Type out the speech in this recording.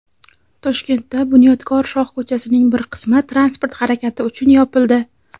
Toshkentda "Bunyodkor" shoh ko‘chasining bir qismi transport harakati uchun yopildi.